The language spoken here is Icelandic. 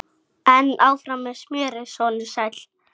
Tók út úr sér títuprjón og brosti.